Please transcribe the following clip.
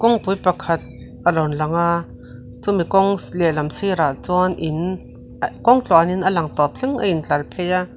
kawngpui pakhat a rawn lang a chumi kawngs lehlam sirah chuan in eh kawngtluanin a lang tawp thleng a intlar phei a.